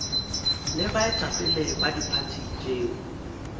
le baetapele ba diphathi tšeo